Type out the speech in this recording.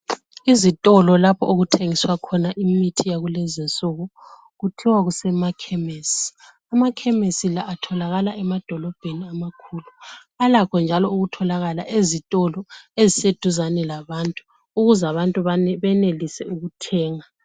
Izitolo lapho okuthengiswa khona imithi yakulezinsuku kuthiwa kusemakhemesi amakhemesi la atholakala emadolobheni amakhulu alakho njalo ukutholakala ezitolo eziseduzane labantu ukuze abantu benelise ukuthenga.